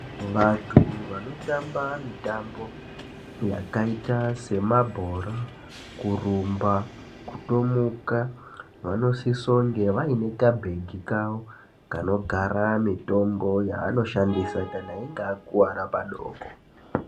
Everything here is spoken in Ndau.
Vantu vanotamba mitambo yakaite semabhora, kurumba, kutomuka vanosisonge vane kabhegi kavo kanogara mitombo yavanoshandisa kana veinge vakuwara padoko.